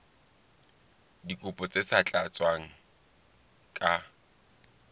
dikopo tse sa tlatswang ka